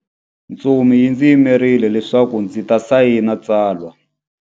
Ntsumi yi ndzi yimerile leswaku ndzi ta sayina tsalwa.